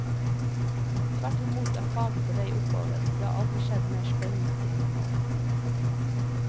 Tvert imot er faget på vei oppover, det har aldri skjedd mer spennende ting enn nå.